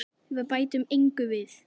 Við bætum engu við.